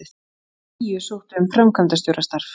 Tíu sóttu um framkvæmdastjórastarf